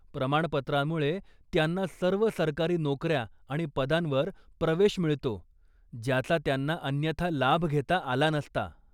प्रमाणपत्रामुळे त्यांना सर्व सरकारी नोकऱ्या आणि पदांवर प्रवेश मिळतो ज्याचा त्यांना अन्यथा लाभ घेता आला नसता.